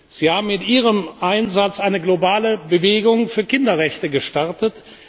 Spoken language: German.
Sie haben mit Ihrem Einsatz eine globale Bewegung für Kinderrechte gestartet.